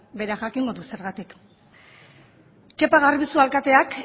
berak jakingo du zergatik kepa garbizu alkateak